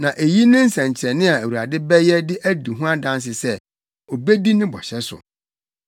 “ ‘Na eyi ne nsɛnkyerɛnne a Awurade bɛyɛ de adi ho adanse sɛ, obedi ne bɔhyɛ so: